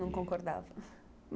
Não concordava?